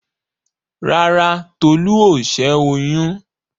Rárá, Tolú ò ṣẹ́ oyún.